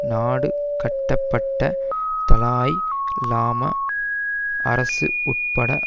நாடு கடத்தப்பட்ட தலாய் லாமா அரசு உட்பட